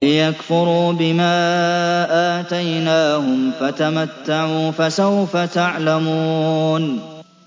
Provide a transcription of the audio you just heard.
لِيَكْفُرُوا بِمَا آتَيْنَاهُمْ ۚ فَتَمَتَّعُوا ۖ فَسَوْفَ تَعْلَمُونَ